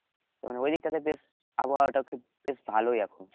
তার মানে ওই দিকটাতে বেশ আবহাওয়াটা বেশ ভালই এখন